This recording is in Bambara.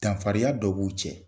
Danfariya dɔ b'u cɛ.